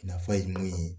Nafa ye min ye